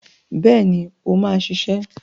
Bẹ́ẹ̀ni, ó máa ṣiṣẹ́.